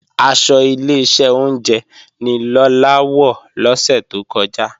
Aṣọ Ileṣẹ́ oúnjẹ ni Lọlá wọ̀ lọ́sẹ̀ tó kọjá